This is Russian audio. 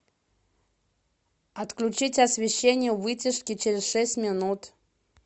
отключить освещение у вытяжки через шесть минут